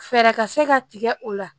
Fɛɛrɛ ka se ka tigɛ o la